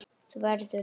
Þú verður.